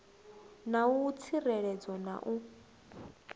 na u tsireledzea na u